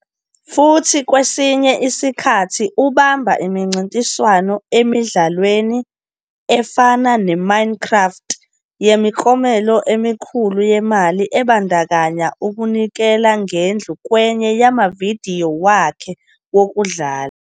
Futhi kwesinye isikhathi ubamba imincintiswano emidlalweni, efana "neMinecraft", yemiklomelo emikhulu yemali ebandakanya ukunikela ngendlu kwenye yamavidiyo wakhe wokudlala.